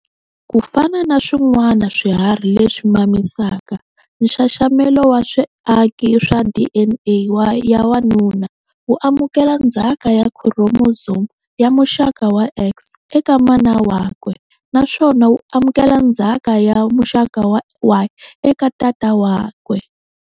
Kufana na swin'wana swiharhi leswi mamisaka, nxaxamelo wa swiaki swa DNA ya wanuna, wu amukela ndzhaka ya khuromosomu ya muxaka wa X eka mana wakwe naswona wu amukela ndzhaka ya muxaka wa Y eka tata wakwe.